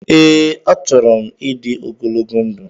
Ee, achọrọ m ịdị ogologo ndụ